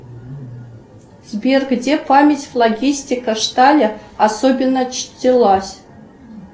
сбер где память логистика шталя особенно чтилась